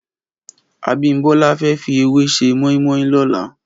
Abimbola fè fi èwà sè mòimòi lòlá